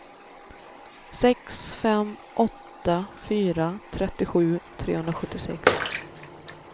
sex fem åtta fyra trettiosju trehundrasjuttiosex